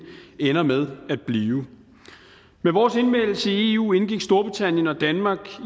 ender med at blive ved vores anmeldelse i eu indgik storbritannien og danmark